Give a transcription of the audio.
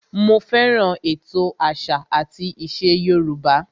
Mo fẹ́ràn ètò àṣà àti ìṣe Yorùbá